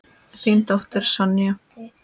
Þín dóttir, Sonja.